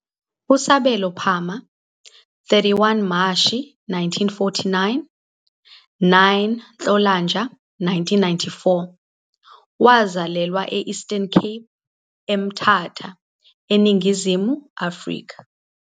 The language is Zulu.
USabelo Phama, 31 Mashi 1949 - 9 Nhlolanja 1994, wazalelwa e- Eastern Cape, eMthatha, eNingizimu Afrika.